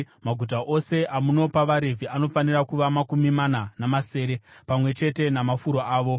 Maguta ose amunopa vaRevhi anofanira kuva makumi mana namasere, pamwe chete namafuro avo.